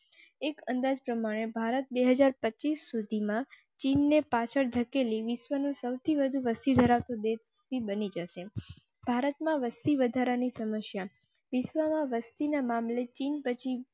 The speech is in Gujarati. એક અંદાજ પ્રમાણે ભારત બે હાજર પચીસ સુધી માં ચીન ને પાછળ ધકેલી વિશ્વનું સૌથી વધુ વસ્તી ધરાવતો દેશ બની જશે. ભારત માં વસ્તી વધારા ની સમસ્યા વિશ્વમાં વસતી ના મામલે ચીન પછી.